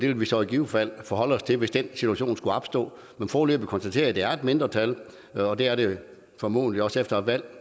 vil vi så i givet fald forholde os til hvis den situation skulle opstå men foreløbig konstater jeg at det er et mindretal og det er det formodentlig også efter et valg